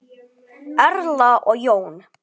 Erla og Jón.